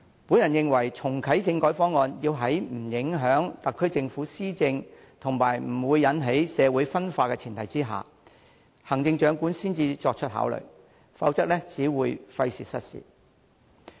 我認為，要在不影響特區政府施政及不會引起社會分化的前提下，行政長官才可作出考慮重啟政改方案，否則只會費時失事。